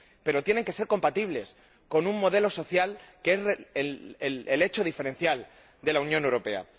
Pero tienen que ser compatibles con un modelo social, que es el hecho diferencial de la Unión Europea.